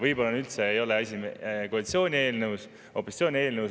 Võib-olla üldse ei ole asi koalitsiooni eelnõus ega opositsiooni eelnõus.